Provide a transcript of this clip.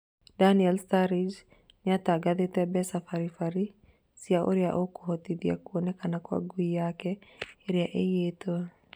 Daniel Sturridge nĩatangathĩte mbeca bari bari cia ũrĩa ũkohotithia kwonekana kwa ngui yake ĩrĩa ĩiyĩtwo